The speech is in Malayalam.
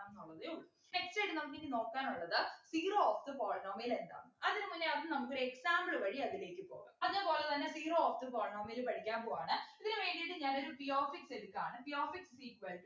ന്നുള്ളതേ ഉള്ളൂ next ആയിട്ട് നമുക്കിനി നോക്കാനുള്ളത് zero of the polynomial എന്താണ് അതിനു മുന്നേ ആദ്യം നമുക്കൊരു example വഴി അതിലേക്ക് പോകാം അതെ പോലെത്തന്നെ zero of the polynomial പഠിക്കാൻ പോവ്വാണ് ഇതിനു വേണ്ടീട്ട് ഞാനൊരു p of x എടുക്കാണ് p of x is equal to